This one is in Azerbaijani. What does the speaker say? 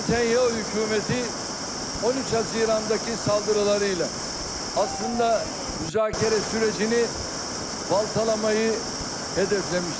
Netanyahu hökuməti 13 iyundakı saldırılarıyla əslində müzakirə sürecini baltalamayı hədəfləmişdir.